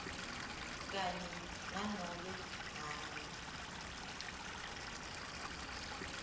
kanye nanobe ngabe